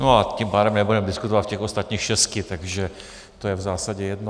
No a tím pádem nebudeme diskutovat o těch ostatních šesti, takže to je v zásadě jedno.